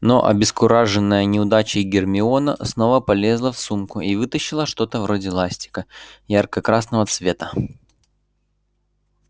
но обескураженная неудачей гермиона снова полезла в сумку и вытащила что-то вроде ластика ярко-красного цвета